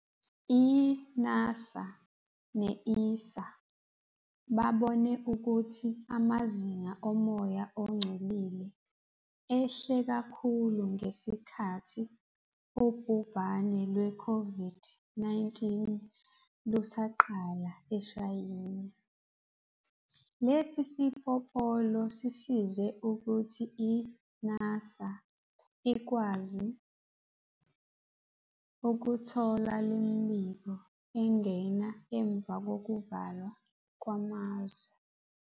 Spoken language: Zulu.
i-NASA ne-ESA babone ukuthi amazinga omoya ongcolile ehle kakhulu ngesikhathi ubhubhane lwe-COVID-19 lusaqala eShayina. Lesi sipopolo sisize ukuthi i-NASA ikwazi ukuthola lemibiko engena emva kokuvalwa kwamazwe.